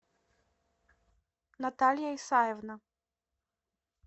наталья исаевна